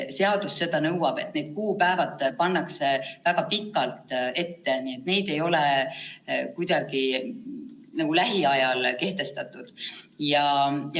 Seadus nõuab, et need kuupäevad pannakse väga pikalt ette, need ei ole kuidagi lähiajal kehtestatud.